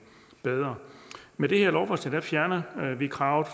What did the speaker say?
bedre med det her lovforslag fjerner vi kravet